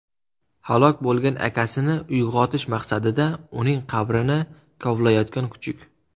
Halok bo‘lgan akasini uyg‘otish maqsadida uning qabrini kovlayotgan kuchuk.